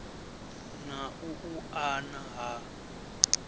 na u u una ha